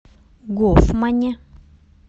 гофмане